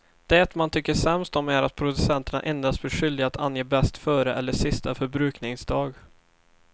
Det man tycker sämst om är att producenterna endast blir skyldiga att ange bäst före eller sista förbrukningsdag.